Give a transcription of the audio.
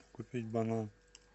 купить банан